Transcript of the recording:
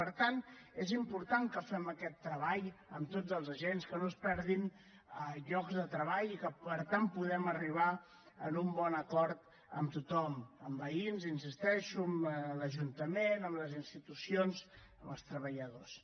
per tant és important que fem aquest treball amb tots els agents que no es perdin llocs de treball i que per tant puguem arribar a un bon acord amb tothom amb veïns hi insisteixo amb l’ajuntament amb les institucions amb els treballadors